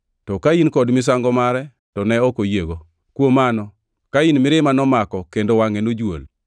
to Kain kod misango mare to ne ok oyiego. Kuom mano Kain mirima nomako kendo wangʼe nojuol.